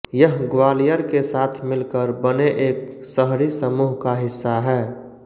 यह ग्वालियर के साथ मिलकर बने एक शहरी समूह का हिस्सा है